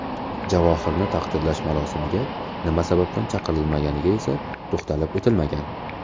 Javohirning taqdirlash marosimiga nima sababdan chaqirilmaganiga esa to‘xtalib o‘tilmagan.